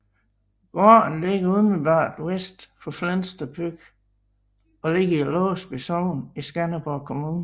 Gården ligger umiddelbart vest for Flensted By og ligger i Låsby Sogn i Skanderborg Kommune